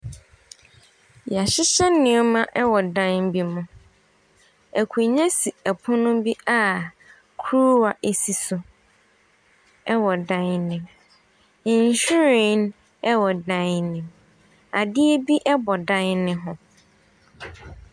Wɔahyehyɛ nneɛma wɔ dan bi mu. Akonnwa si pono bi akuruwa si so wɔ dan no mu. Nhwiren wɔ dan no mu. Adeɛ bo bɔ dan no ho.